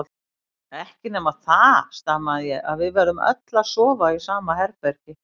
Ekki nema það, stamaði ég, að við verðum öll að sofa í sama herbergi.